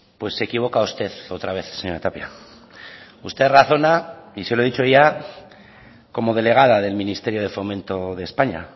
pues se equivoca usted otra vez señora tapia usted razona y se lo he dicho ya como delegada del ministerio de fomento de españa